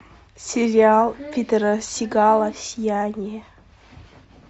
сериал питера сигала сияние